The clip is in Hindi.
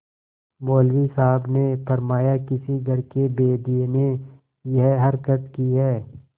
मौलवी साहब ने फरमाया किसी घर के भेदिये ने यह हरकत की है